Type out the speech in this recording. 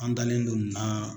An dalen do nin na.